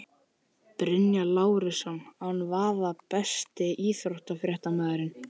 Bjarnólfur Lárusson án vafa Besti íþróttafréttamaðurinn?